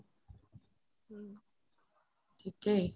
থিকেই